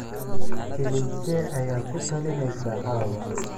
filimkee ayaad ku talinaysaa caawa